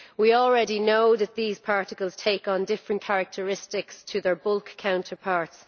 We already know that these particles take on different characteristics to their bulk counterparts.